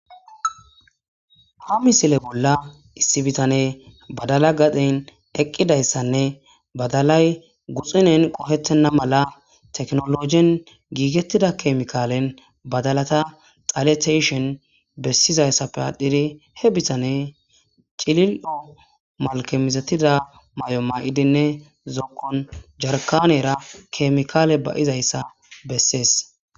Ha misile bolla issi bitane badala gaden eqqidayssanne badalay guxinen qohettenna mala teknolojen giigettida kemikaalen badalata xalete tiyishen bessizayssappe aadhidi he bitane cilil7o malke mizetida may7o maa7idinne zokon jarkanera kemikaale ba7izayssa bessees.